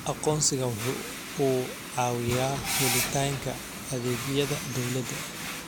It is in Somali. Aqoonsigu waxa uu caawiyaa helitaanka adeegyada dawladda.